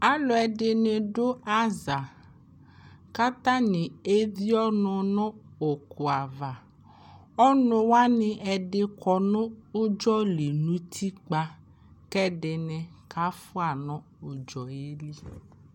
Aalʋɛini aɖʋ aza ,K'atani evie' ɔnʋ nʋ ʋkuavaƆnʋwani ɛɖi kɔ nʋ ʋdzɔli nʋ utikpa, k'ɛɖini k'afua nʋ ʋdzɔli